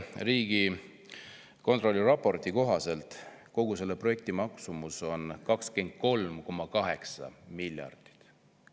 Riigikontrolli värske raporti kohaselt on kogu selle projekti maksumus 23,8 miljardit.